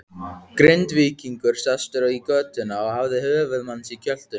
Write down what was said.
Grindvíkingur sestur í götuna og hafði höfuð manns í kjöltunni.